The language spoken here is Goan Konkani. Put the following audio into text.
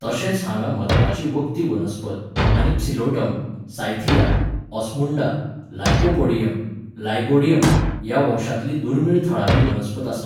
तशेंच हांगा म्हत्वाचीं वखदी वनस्पत आनी psilotum, cyathea, osmunda, lycopodium, lygodium ह्या वंशांतलीं दुर्मिळ थळावी वनस्पत आसात.